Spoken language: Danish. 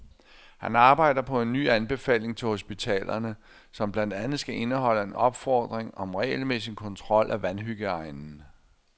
Han arbejder på en ny anbefaling til hospitalerne, som blandt andet skal indeholde en opfordring om regelmæssig kontrol af vandhygiejnen.